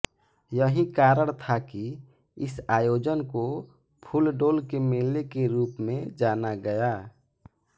यही कारण था कि इस आयोजन को फूलडोल के मेले के रूप में जाना गया